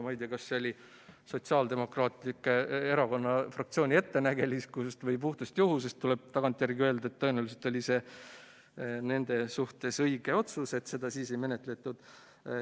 Ma ei tea, kas see oli Sotsiaaldemokraatliku Erakonna fraktsiooni ettenägelikkusest või puhtast juhusest, aga tagantjärele tuleb öelda, et tõenäoliselt oli see neil õige otsus, et seda siis ei menetletud.